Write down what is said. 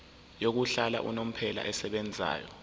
yokuhlala unomphela esebenzayo